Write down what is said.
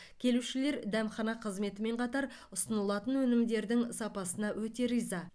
келушілер дәмхана қызметімен қатар ұсынылатын өнімдердің сапасына өте риза